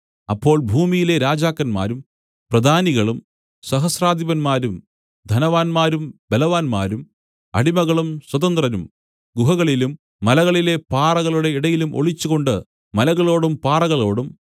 അപ്പോൾ ഭൂമിയിലെ രാജാക്കന്മാരും പ്രധാനികളും സഹസ്രാധിപന്മാരും ധനവാന്മാരും ബലവാന്മാരും അടിമകളും സ്വതന്ത്രരും ഗുഹകളിലും മലകളിലെ പാറകളുടെ ഇടയിലും ഒളിച്ചുകൊണ്ട് മലകളോടും പാറകളോടും